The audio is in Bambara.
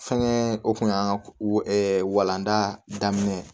Fɛnkɛ o kun y'an ka walanda daminɛ ye